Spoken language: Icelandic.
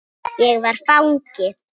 Ég var fangi.